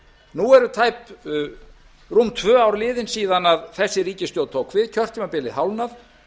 nú eru rúm tvö ár liðin síðan þessi ríkisstjórn tók við kjörtímabilið hálfnað